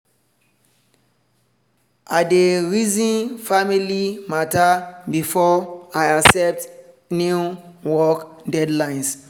i dey reason family matter before i accept new work deadlines